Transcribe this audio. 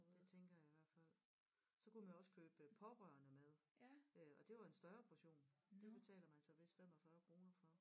Det tænker jeg i hvert fald så kunne man jo også købe pårørende mad øh og det var en større portion det betaler man så vist 45 kroner for